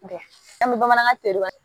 an bɛ bamanankan tereya